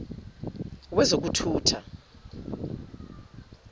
wezokuthutha